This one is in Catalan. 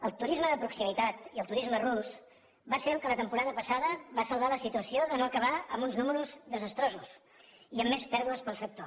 el turisme de proximitat i el turisme rus van ser els que la temporada passada van salvar la situació de no acabar amb uns números desastrosos i amb més pèrdues per al sector